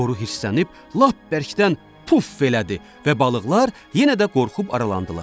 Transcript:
Boru hirslənib lap bərkdən puf elədi və balıqlar yenə də qorxub aralandılar.